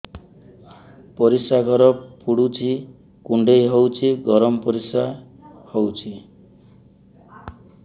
ପରିସ୍ରା ଘର ପୁଡୁଚି କୁଣ୍ଡେଇ ହଉଚି ଗରମ ପରିସ୍ରା ହଉଚି